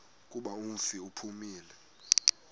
kuba umfi uphumile